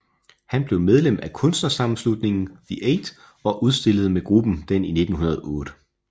Han blev medlem af kunstnersammenslutningen The Eight og udstillede med gruppen den i 1908